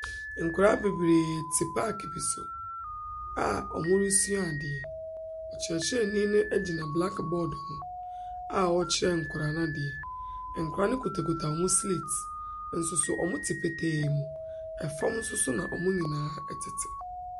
Nkoraa bebree te baag bi so a ɔmo resua adeɛ, ɔkyekyerɛni no egyina blakbɔɔd ho a ɔɔkyerɛ nkoraa n'adeɛ. Nkoraa no kuta kuta ɔmo sleet, nso so ɔmo te petee mu. Ɛfɔm nso so ɔmo nyinaa ɛtete.